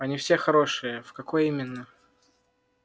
они все хорошие в какой именно